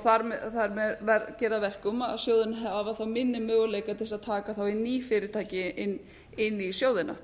þar með geri að verkum að sjóðirnir hafa þá minni möguleika til þess að taka þá inn ný fyrirtæki inn í sjóðina